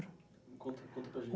Conta conta para a